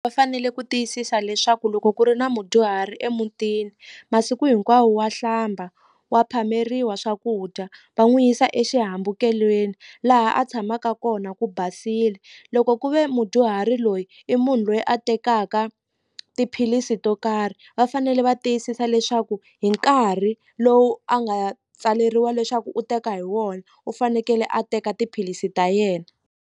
Va fanele ku tiyisisa leswaku loko ku ri na mudyuhari emutini masiku hinkwawo wa hlamba wa phameriwa swakudya va n'wi yisa exihambukelweni laha a tshamaka kona ku basile loko ku ve mu mudyuhari loyi i munhu loyi a tekaka tiphilisi to karhi va fanele va tiyisisa leswaku hi nkarhi lowu a nga ya tsaleriwa leswaku u teka hi wona u fanekele a teka tiphilisi ta yena.